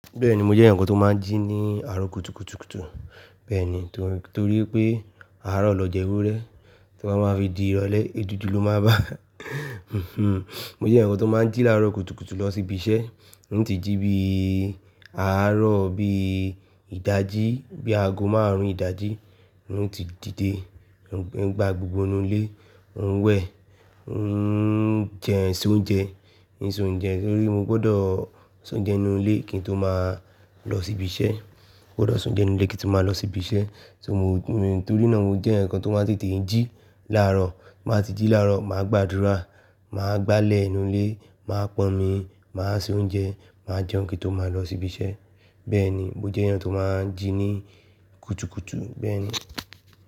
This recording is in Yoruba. Bẹ́ẹ̀ni, mo jẹ́ eeyan kan tó máa ń jí ní àárọ̀ kùtùkùtù kùtù. Bẹ́ẹ̀ni, torí, tori pé àárọ̀ lọ ja ewúrẹ́, to ba máa fi di ìrọ̀lẹ́, èédú du ló máa bá a. Mo jẹ́ eeyaǹ kan tó máa ń jí láàárọ̀ kùtùkùtù lọ sí ibi iṣẹ́. N ti jí bí i àárọ̀, bí i ìdajì, bí aago márùn-ún ìdajì n ti dìde. N gbá gbogbo nú ilé, n wẹ̀, n jẹ se oúnjẹ, ń sọ oúnjẹ torí mo gbọdọ̀ sọ̀unje inú ilé kí n tó máa lọ sí ibi iṣẹ́. Mo gbọdọ̀ sọ̀já inú ilé kí n tó máa lọ sí ibi iṣẹ́. Torí náà mo jẹ́ eeyaǹ kan tó máa tètè ń jí láàárọ̀. Máa ti jí láàárọ̀, màá gbàdúrà, màá gbálẹ̀ inú ilé, màá pọn mi, màá se oúnjẹ, màá jẹun kí n tó máa lọ sí ibi iṣẹ́. Bẹ́ẹ̀ni, mo jẹ́ eeyaǹ tó máa ń jí ní kùtùkùtù, bẹ́ẹ̀ni.